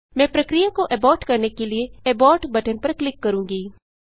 मैं प्रक्रिया को एबॉर्ट करने के लिए एबोर्ट बटन पर क्लिक करूँगी